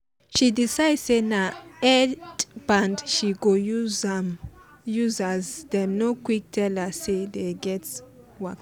she decide say na headband she go use as dem no quick tell her say dey get waka